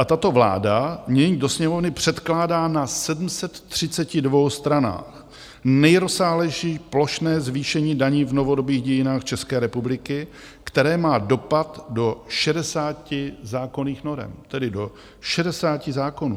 A tato vláda nyní do Sněmovny předkládá na 732 stranách nejrozsáhlejší plošné zvýšení daní v novodobých dějinách České republiky, které má dopad do 60 zákonných norem, tedy do 60 zákonů.